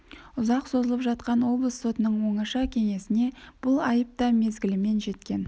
ұзақ созылып жатқан облыс сотының оңаша кеңесіне бұл айып та мезгілімен жеткен